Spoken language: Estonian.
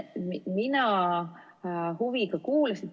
Mina huviga kuulasin.